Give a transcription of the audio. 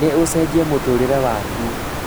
nĩ ũcejia mũtũrĩre wakwa